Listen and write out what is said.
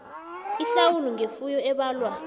ihlawulo ngefuyo ebalwa